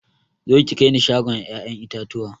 Zo ki kaini shagon ƴaƴan itatuwa